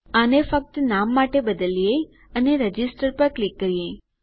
આને ફક્ત નામ માટે બદલીએ અને રજીસ્ટર પર ક્લિક કરીએ